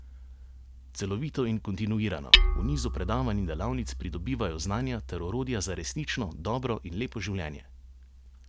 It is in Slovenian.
Celovito in kontinuirano, v nizu predavanj in delavnic pridobivajo znanja ter orodja za resnično, dobro in lepo življenje.